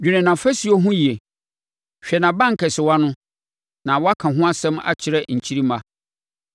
dwene nʼafasuo ho yie, hwɛ nʼabankɛsewa no, na woaka ho asɛm akyerɛ nkyirimma.